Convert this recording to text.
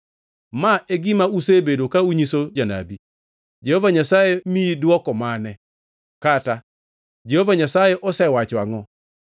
Ma e gima usebedo ka unyiso janabi: ‘Jehova Nyasaye miyi dwoko mane?’ kata, ‘Jehova Nyasaye osewacho angʼo?’